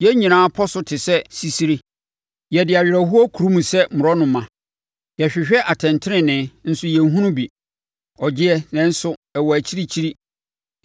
Yɛn nyinaa pɔ so te sɛ sisire; yɛde awerɛhoɔ kurum sɛ mmorɔnoma. Yɛhwehwɛ atɛntenenee nso yɛnhunu bi; ɔgyeɛ nanso ɛwɔ akyirikyiri.